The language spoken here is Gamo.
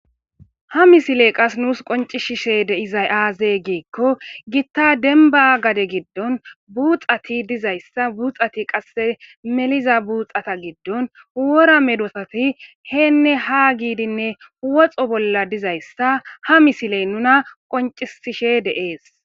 Ha misiley qas nuus qoncishishe deizay aaze giikko gitta denba gade giddon buuxati dizayssa buuxati qasse meliza buuxata giddon uwora medosati heenne ha giidinne huwoxo bolla dizayssa ha misiley nuna qoncisishe dees